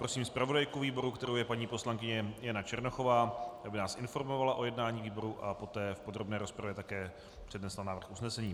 Prosím zpravodajku výboru, kterou je paní poslankyně Jana Černochová, aby nás informovala o jednání výboru a poté v podrobné rozpravě také přednesla návrh usnesení.